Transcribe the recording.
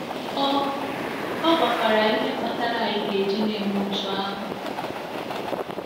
Ọ Ọ gwakwara anyị ihe kpatara anyị ga-eji na-eme otú ahụ.